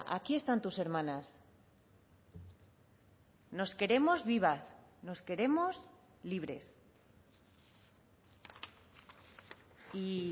aquí están tus hermanas nos queremos vivas nos queremos libres y